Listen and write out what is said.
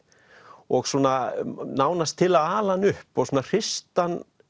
og svona nánast til að ala hann upp og svona hrista